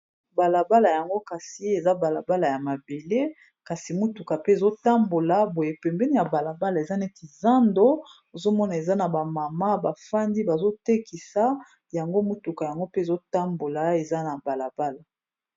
balabala yango kasi eza balabala ya mabele kasi mutuka pe ezotambola boye pembeni ya balabala eza neti zando ozomona eza na bamama bafandi bazotekisa yango mutuka yango pe ezotambola eza na balabala